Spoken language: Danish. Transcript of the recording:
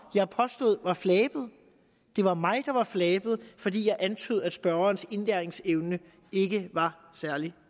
jeg påstod var flabet det var mig der var flabet fordi jeg antydede at spørgerens indlæringsevne ikke var særlig